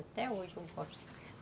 Até hoje eu gosto.